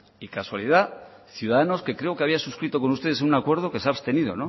y casualidad ciudadanos que creo que había suscrito con ustedes un acuerdo que se ha abstenido